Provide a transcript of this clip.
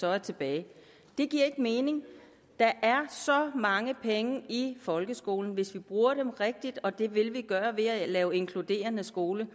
er tilbage det giver ikke mening der er så mange penge i folkeskolen hvis vi bruger dem rigtigt og det vil vi gøre ved at lave inkluderende skole